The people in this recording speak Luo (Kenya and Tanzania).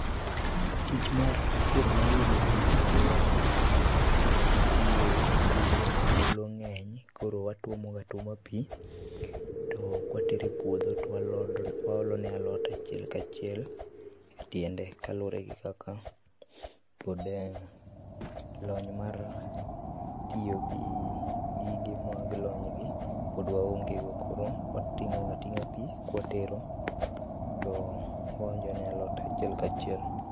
Tich mar kiro ne alode pii e aluorana nitie kulo, kulo ng'eny koro watuomo ga atuoma pii to kawatero e puodho to waolone alot achiel kachiel e tiende kaluore gi kaka puodho en. Lony mar tiyo gi gige ma lony gi pod waonge go koro wating'o ga ating'a pii kawatero to waonjo ne alot achiel kachiel